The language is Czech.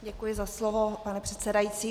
Děkuji za slovo, pane předsedající.